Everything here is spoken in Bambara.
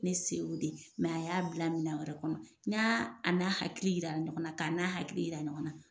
Ne se o de a y'a bila minan wɛrɛ kɔnɔ. N y'aa a n'a hakili yira ɲɔgɔn na, k'a n'a hakili yira ɲɔgɔn na.